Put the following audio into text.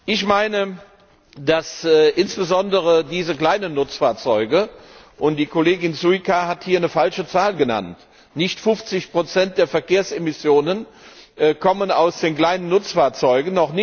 Ich meine, dass insbesondere diese kleinen Nutzfahrzeuge Und die Kollegin Šuica hat hier eine falsche Zahl genannt Nicht 50 der Verkehrsemissionen kommen aus den kleinen Nutzfahrzeugen.